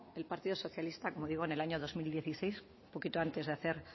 el partido socialista como digo en el año dos mil dieciséis un poquito antes de hacer